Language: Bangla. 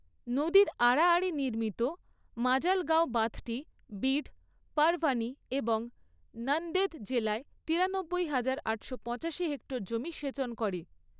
নদীর আড়াআড়ি নির্মিত মাজালগাঁও বাঁধটি বিড, পারভানি এবং নান্দেদ জেলায় তিরানব্বই হাজার আটশো পঁচাশি হেক্টর জমি সেচন করে।